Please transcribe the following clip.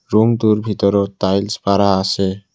ৰূমটোৰ ভিতৰত টাইলচ্ পাৰা আছে।